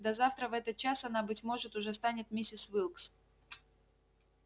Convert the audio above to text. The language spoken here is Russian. да завтра в этот час она быть может уже станет миссис уилкс